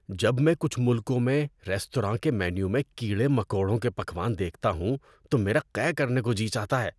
جب میں کچھ ملکوں میں ریستورانوں کے مینو میں کیڑے مکوڑوں کے پکوان دیکھتا ہوں تو میرا قے کرنے کو جی چاہتا ہے۔